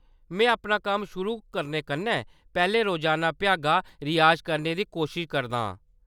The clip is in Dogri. में अपना कम्म शुरू करने कन्नै पैह्‌‌‌लें रोजाना भ्यागा रियाज करने दी कोशश करदा आं।